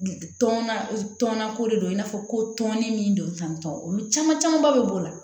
Tɔn tɔnna ko de don i n'a fɔ ko tɔnin min don tan tɔn olu caman camanba bɛ b'o la